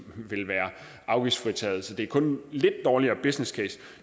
vil være afgiftsfritaget så det er kun en lidt dårligere businesscase